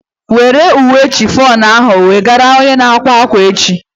Were uwe shifọnu ahu wegara onye na-akwa ákwà echi!